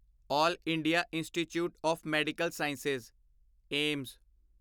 L India Institute of Medical Science AIIMS